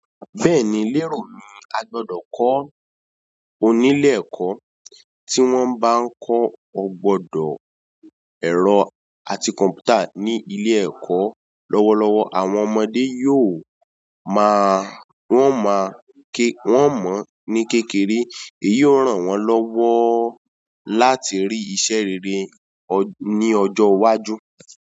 Bẹ́ẹ̀ni, lérò mí a gbọ́dọ̀ kọ ní ilé ẹ̀kọ́ tí wọ́n bá nko o gbọ́dọ̀ ẹ̀rọ àti kọ̀m̀pútà ní ilé ẹ̀kọ́ lọ́wọ́lọ́wọ́ àwọn ọmọdé yóò ma won ma won mo ní kékeré èyí ó ràn wọ́n lọ́wọ́ la láti rí iṣẹ́ rere ní ọjọ́ iwájú.